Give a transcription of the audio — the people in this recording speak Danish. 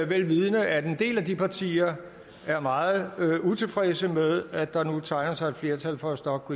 vel vidende at en del af de partier er meget utilfredse med at der nu tegner sig et flertal for at stoppe